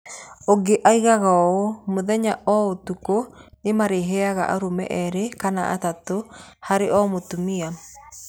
Ũngĩ oigaga ũũ: "Mũthenya o ũtukũ nĩ maarehaga arũme erĩ kana atatũ harĩ o mũtumia.